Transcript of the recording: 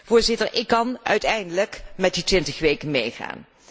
Voorzitter, ik kan uiteindelijk met die twintig weken meegaan.